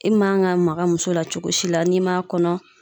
E man ga maga muso la cogo si la n'i m'a kɔnɔ